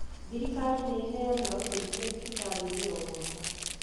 Thirikari nĩ ĩheanaga ũteithio thibitari-inĩ o,mwaka